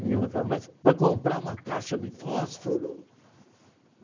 Minha mãe falava, mas para comprar uma caixa de fósforo?